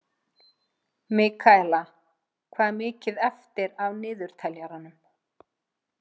Mikaela, hvað er mikið eftir af niðurteljaranum?